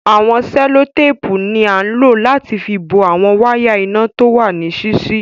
Awọn sẹ̀lọ̀tàpù ni ànlọ̀ láti fì bọ̀ awọn wàya iná tówà níṣiṣi